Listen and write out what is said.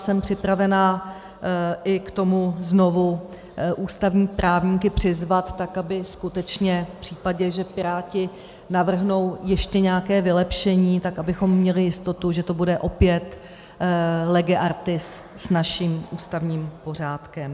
Jsem připravena i k tomu znovu ústavní právníky přizvat, tak aby skutečně v případě, že Piráti navrhnou ještě nějaké vylepšení, tak abychom měli jistotu, že to bude opět lege artis s naším ústavním pořádkem.